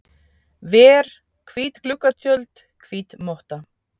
ver, hvít gluggatjöld, hvít motta.